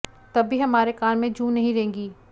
तब भी हमारे कान में जूं नहीं रेंगी